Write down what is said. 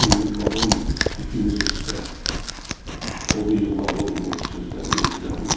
Odun yığmaq olmur ipimiz üstdə, odu yığmaq olmur sözlərimizdən.